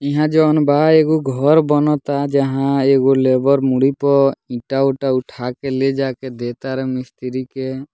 इहाँ जोवन बा एगो घर बनता जहाँ एगो लेबर मुड़ी पर ईंटा-उटा उठा के ले जाके दे तारान मिस्त्री के।